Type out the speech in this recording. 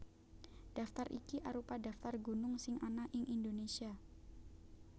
Daftar iki arupa daftar gunung sing ana ing Indonésia